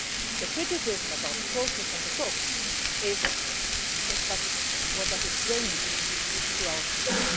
The criticism about the process and the talks is yes, but what does it bring to our people?